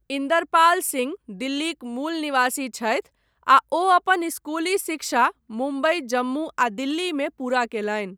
इन्दरपाल सिंह दिल्लीक मूल निवासी छथि, आ ओ अपन स्कूली शिक्षा मुंबइ, जम्मू, आ दिल्ली मे पूरा कयलनि।